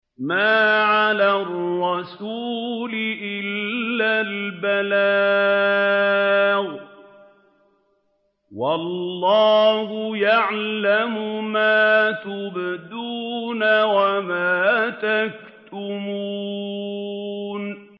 مَّا عَلَى الرَّسُولِ إِلَّا الْبَلَاغُ ۗ وَاللَّهُ يَعْلَمُ مَا تُبْدُونَ وَمَا تَكْتُمُونَ